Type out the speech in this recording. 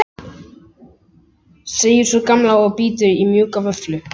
segir sú gamla og bítur í mjúka vöfflu.